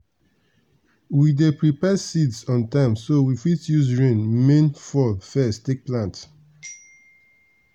we dey prepare seeds on time so we fit use rain main fall first take plant.